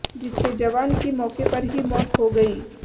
जिससे जवान की मौके पर ही मौत हो गई